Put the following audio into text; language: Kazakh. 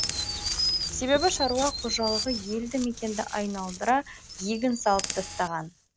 себебі шаруа қожалығы елді мекенді айналдыра егін салып тастаған